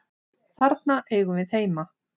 Þarna eigum við heima.